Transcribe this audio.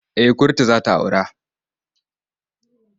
Eh kurtu za ta aura.